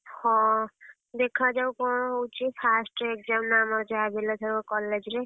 ହଁ, ଦେଖାଯାଉ କଣ ହଉଚି first exam ନା ଆମର ଯାହାବି ହେଲେ ଏଥରକ college ରେ।